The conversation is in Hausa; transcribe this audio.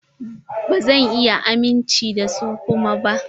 Ba zan iya amince da su kuma ba.